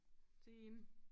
Til hende